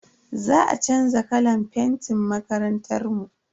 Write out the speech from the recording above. Za a chanza kalan fentin makarantar mu.